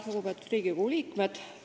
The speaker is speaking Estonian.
Lugupeetud Riigikogu liikmed!